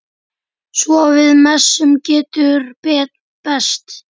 Svo við messu getur bæst.